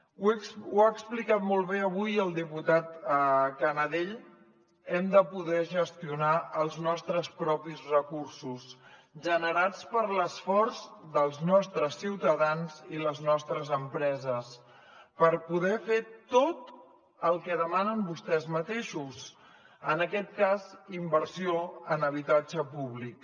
ho ha explicat molt bé avui el diputat canadell hem de poder gestionar els nostres propis recursos generats per l’esforç dels nostres ciutadans i les nostres empreses per poder fer tot el que demanen vostès mateixos en aquest cas inversió en habitatge públic